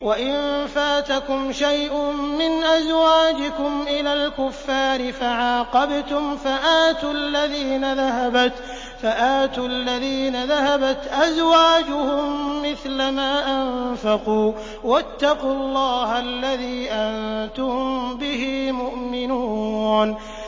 وَإِن فَاتَكُمْ شَيْءٌ مِّنْ أَزْوَاجِكُمْ إِلَى الْكُفَّارِ فَعَاقَبْتُمْ فَآتُوا الَّذِينَ ذَهَبَتْ أَزْوَاجُهُم مِّثْلَ مَا أَنفَقُوا ۚ وَاتَّقُوا اللَّهَ الَّذِي أَنتُم بِهِ مُؤْمِنُونَ